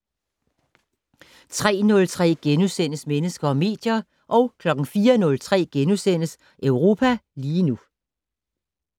03:03: Mennesker og medier * 04:03: Europa lige nu *